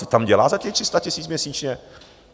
Co tam dělá za těch 300 000 měsíčně?